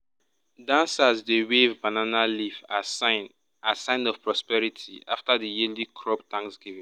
dancers dey wave banana leaf as sign as sign of prosperity after the yearly crop thanksgiving.